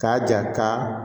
K'a ja ka